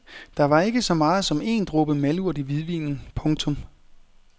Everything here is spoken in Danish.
Der var ikke så meget som én dråbe malurt i hvidvinen. punktum